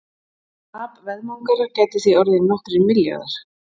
Tap veðmangara gæti því orðið nokkrir milljarðar.